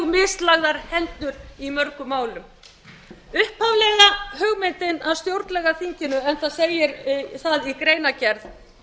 mislagðar hendur í mörgum málum upphaflega hugmyndin að stjórnlagaþinginu en það segir það í greinargerð með